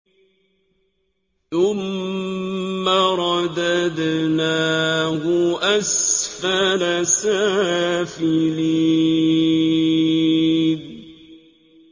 ثُمَّ رَدَدْنَاهُ أَسْفَلَ سَافِلِينَ